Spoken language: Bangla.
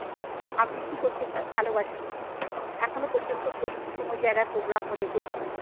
আবৃত্তি করতে খুব ভালোবাসি। এখনো পর্যন্ত করি, কোনো জায়গায় program হলে করি।